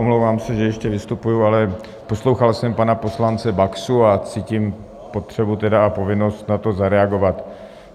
Omlouvám se, že ještě vystupuji, ale poslouchal jsem pana poslance Baxu a cítím potřebu a povinnost na to zareagovat.